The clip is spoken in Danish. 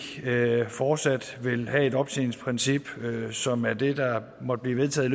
fortsat vil have et optjeningsprincip som er det der måtte blive vedtaget